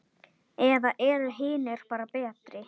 Eða eru hinir bara betri?